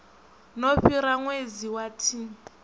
no fhira ṋwedzi wa t